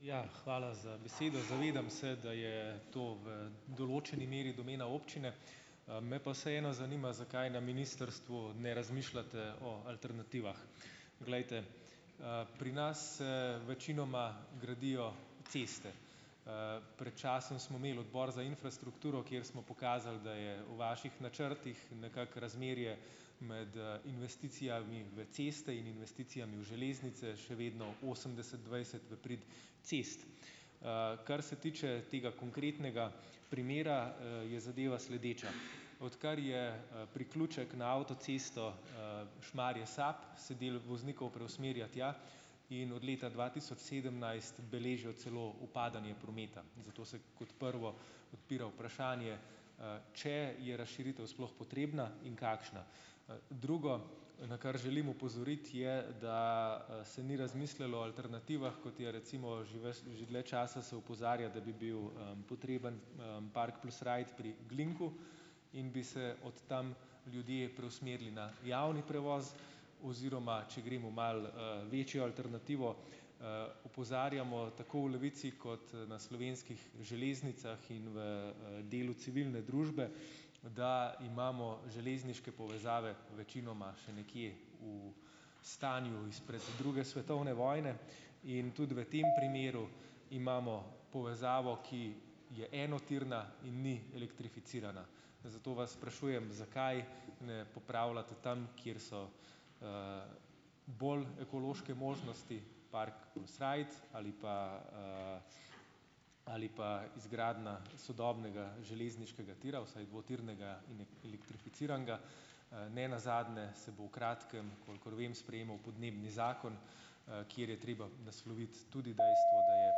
Ja, hvala za besedo. Zavedam se, da je to v določeni meri domena občine, me pa vseeno zanima, zakaj na ministrstvu ne razmišljate o alternativah. Glejte, pri nas se večinoma gradijo ceste. Pred časom smo imeli Odbor za infrastrukturo, kjer smo pokazali, da je v vaših načrtih nekako razmerje med, investicijami v ceste in investicijami v železnice še vedno osemdeset dvajset v prid cest. Kar se tiče tega konkretnega primera, je zadeva sledeča. Odkar je, priključek na avtocesto, Šmarje - Sap, se del voznikov preusmerja tja in od leta dva tisoč sedemnajst beležijo celo upadanje prometa, zato se kot prvo odpira vprašanje, če je razširitev sploh potrebna in kakšna. Drugo, na kar želim opozoriti, je, da se ni razmislilo o alternativah, kot je recimo že ves že dlje časa se opozarja, da bi bil, potreben, park plus ride pri Glinku in bi se od tam ljudje preusmerili na javni prevoz, oziroma če gremo malo, večjo alternativo, opozarjamo tako v Levici kot na Slovenskih železnicah in v delu civilne družbe, da imamo železniške povezave večinoma še nekje v stanju izpred druge svetovne vojne. In tudi v tem primeru imamo povezavo, ki je enotirna in ni elektrificirana, zato vas sprašujem, zakaj ne popravljate tam, kjer so, bolj ekološke možnosti park plus ride ali pa, ali pa izgradnja sodobnega železniškega tira vsaj dvotirnega in elektrificiranega, nenazadnje se bo v kratkem, kolikor vem, sprejemal podnebni zakon, kjer je treba nasloviti tudi dejstvo, da je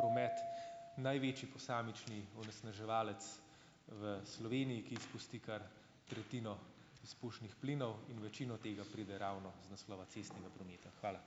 promet največji posamični onesnaževalec v Sloveniji, ki izpusti kar tretjino izpušnih plinov in večino tega pride ravno iz naslova cestnega prometa. Hvala.